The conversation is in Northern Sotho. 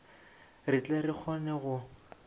re tle re kgone go